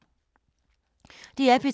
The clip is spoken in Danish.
DR P2